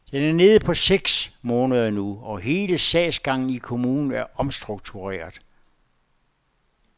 Den er nede på seks måneder nu, og hele sagsgangen i kommunen er omstruktureret.